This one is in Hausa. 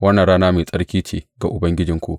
Wannan rana mai tsarki ce ga Ubangijinmu.